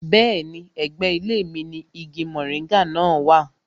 Bẹ́ẹ̀ni, ẹ̀gbẹ́ ilé mi ni igi moringa náà wà